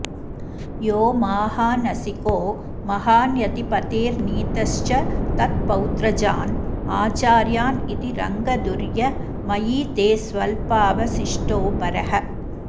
यो माहानसिको महान्यतिपतेर्नीतश्च तत्पौत्रजान् आचार्यानिति रङ्गधुर्य मयि ते स्वल्पावशिष्टो भरः